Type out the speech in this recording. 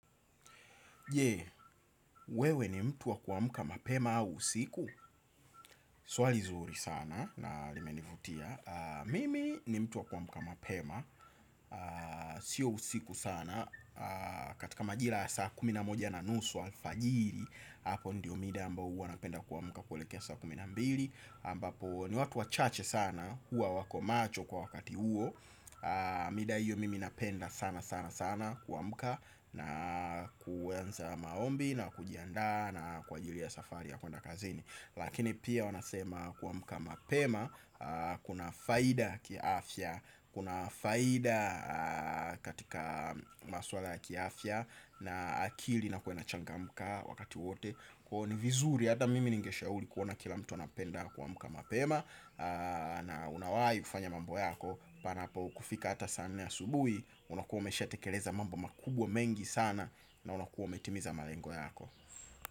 Je, wewe ni mtu wa ku amka mapema au usiku? Swali zuri sana na limenivutia. Mimi ni mtu wa ku amka mapema. Sio usiku sana. Katika majira ya saa kumi na moja na nusu alfajiri. Apo ndio mida ambayo huwa napenda ku amka kuelekea saa kumi na mbili ambapo ni watu wachache sana huwa wako macho kwa wakati huwo. Mida hiyo mimi napenda sana sana sana kuamka. Na kuanza maombi na kujianda na kwa ajili ya safari ya kuenda kazini. Lakini pia wanasema kuamuka mapema. Kuna faida ki afya. Kuna faida katika maswala ya ki afya. Na akili ina kuwa ime changamka wakati wote. Kwa ni vizuri hata mimi ningeshauli kuona kila mtu anapenda kuamka mapema. Na unawai kufanya mambo yako. Panapo kufika hata saa nne asubui. Unakuwa umesha tekeleza mambo makubwa mengi sana. Na unakuwa umetimiza marengo yako.